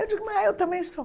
Eu digo, mas eu também sou.